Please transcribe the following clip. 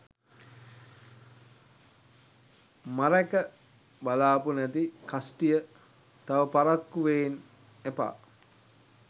මරැඑක බාලපු නැති කස්ටිය තව පරක්කු වේන් එපා